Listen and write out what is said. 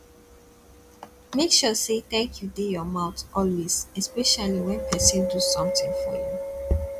make sure say thank you de your mouth always especially when persin do something for you